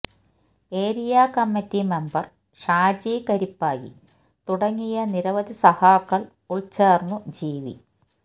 എറിയാ committee member Shaji Karippayi തുട ങ്ങിയ നിരവധി സഖാക്കൾ ഉൾച്ചേർന്നു ജീവി